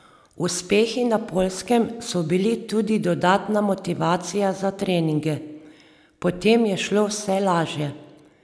Uspehi na Poljskem so bili tudi dodatna motivacija za treninge: "Potem je šlo vse lažje.